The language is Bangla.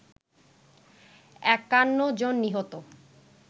৫১ জন নিহত